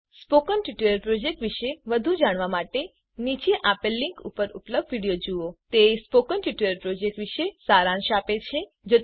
spoken tutorial project વિષે વધુ જાણવા માટે નીચે આપેલ લીંક ઉપર ઉપલબ્ધ વિડીઓ જુઓ તે સ્પોકન ટ્યુટોરીયલ પ્રોજેક્ટ માટે સારાંશ આપે છે